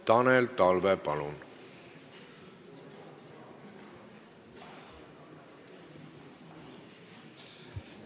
Tanel Talve, palun!